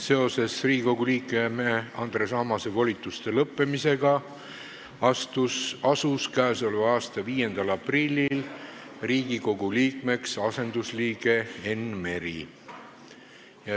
Seoses Riigikogu liikme Andres Ammase volituste lõppemisega asus k.a 5. aprillil Riigikogu liikmeks asendusliige Enn Meri.